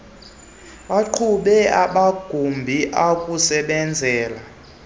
buqhubae amagumbi okusebenzela